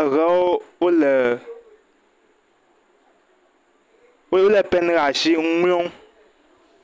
eɖewo lé pen ɖe asi le nu ŋlɔm.